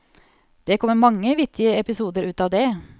Det kommer mange vittige episoder ut av det.